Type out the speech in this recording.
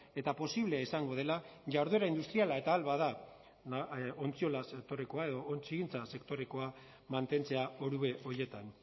eta posible izango dela jarduera industriala eta ahal bada ontziolaz sektorekoa edo ontzigintza sektorekoa mantentzea orube horietan